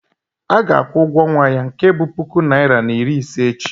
a ga-akwụ ụgwọ ọnwa ya nke bu puku naira na iri ise echi